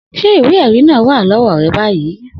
Se iwe eri naa wa lowo re bayii?